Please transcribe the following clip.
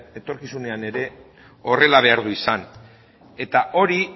etorkizunean ere horrela behar du izan eta hori